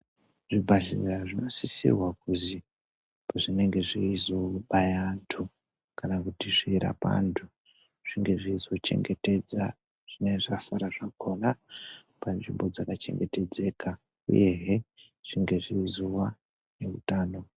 Zvibhadhlera zvinosisirwa kuzi zvinenge zveizobaya antu kana kuti zveiirapa antu zvinge zveizochengetedza zvinenge zvasara zvakona panzvimbo dzaka chengetedzeka uyehe zvinge zveizowa ngeutano.